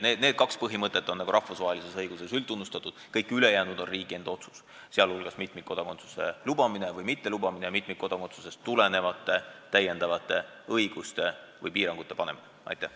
Need kaks põhimõtet on rahvusvahelises õiguses üldtunnustatud, kõik ülejäänud on riigi enda otsus, sh mitmikkodakondsuse lubamine või mittelubamine ja mitmikkodakondsusest tulenevate täiendavate õiguste või piirangute kehtestamine.